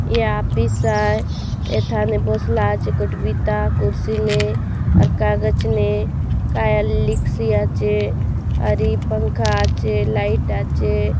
ए office आए इथाने बोसला कुर्सी में और कागज में का लिखस्या चे और पंखा आचे लाइट आचे--